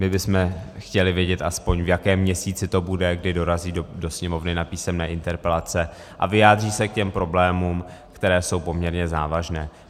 My bychom chtěli vědět, aspoň v kterém měsíci to bude, kdy dorazí do Sněmovny na písemné interpelace a vyjádří se k těm problémům, které jsou poměrně závažné.